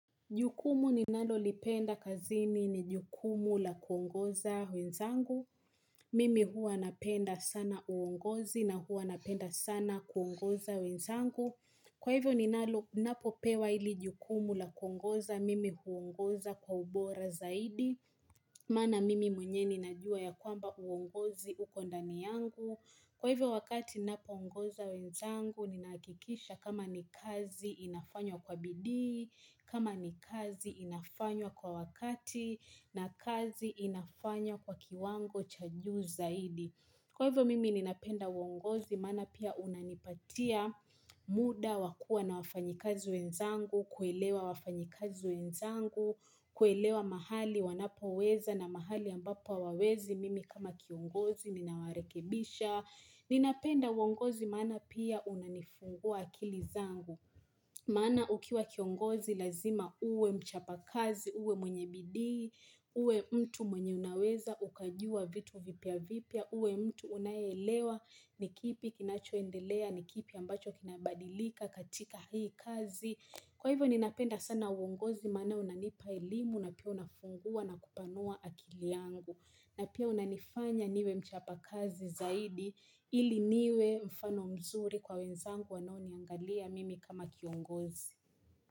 Jukumu ninalo lipenda kazini ni jukumu la kuongoza wenzangu. Mimi huwa napenda sana uongozi na huwa napenda sana kuongoza wenzangu. Kwa hivyo ninalo napopewa hili jukumu la kuongoza mimi huongoza kwa ubora zaidi. Maana mimi mwenyewe ninajua ya kwamba uongozi uko ndani yangu. Kwa hivyo wakati ninapoongoza wenzangu, ninahakikisha kama ni kazi inafanywa kwa bidii, kama ni kazi inafanywa kwa wakati na kazi inafanywa kwa kiwango cha juu zaidi. Kwa hivyo mimi ninapenda uongozi maana pia unanipatia muda wakua na wafanyakazi wenzangu, kuelewa wafanyakazi wenzangu, kuelewa mahali wanapo weza na mahali ambapo hawawezi mimi kama kiongozi ninawarekebisha. Ni napenda uongozi maana pia unanifungua akili zangu Maana ukiwa kiongozi lazima uwe mchapa kazi, uwe mwenye bidii uwe mtu mwenye unaweza ukajua vitu vipya vipya uwe mtu unaye elewa nikipi kinachoendelea nikipi ambacho kinabadirika katika hii kazi Kwa hivyo ni napenda sana uongozi maana unanipa elimu na pia unafungua na kupanua akili yangu na pia unanifanya niwe mchapa kazi zaidi ili niwe mfano mzuri kwa wenzangu wanao niangalia mimi kama kiongozi.